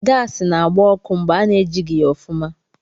Gaasị na-agbá ọkụ mgbe ana-ejighị ya ofuma.